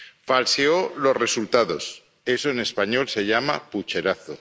falseó los resultados eso, en español, se llama pucherazo